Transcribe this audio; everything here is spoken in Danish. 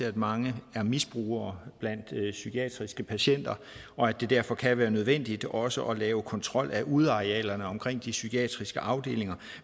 at mange er misbrugere blandt psykiatriske patienter og at det derfor kan være nødvendigt også at lave kontrol af udearealerne omkring de psykiatriske afdelinger